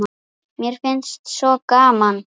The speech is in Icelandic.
Mér fannst svo gaman!